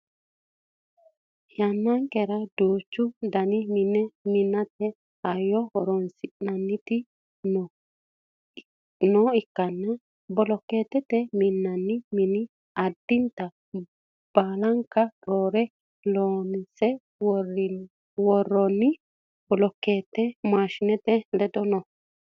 yannankera duuchu daninni mine minate hayyo horonsi'naniti nooha ikkanna bolokeetteetnni minnannii mini addinta baalanka rooreho loonse worroonni bolokeete maashinete ledo no